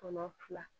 Kɔnɔ fila